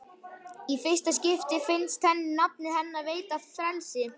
Í fyrsta skipti finnst henni nafnið hennar veita frelsi.